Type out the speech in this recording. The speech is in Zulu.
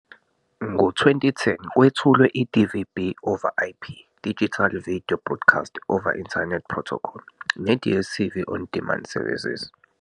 Ngo-2010, kwethulwe iDVB over IP, Digital Video Broadcast over Internet Protocol, neDStv on Demand services.